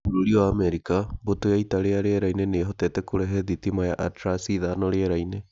Bũrũri wa Amerika Mbũtũ ya ita rĩa rĩera-inĩ nĩ ĩhotete kũrehe thitima ya Atlas V rĩera-inĩ. .